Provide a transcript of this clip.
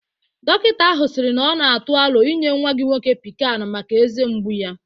Dokịta ahụ siri na ọ na atụ aro inye nwa gị nwoke Pikan maka eze mgbu ya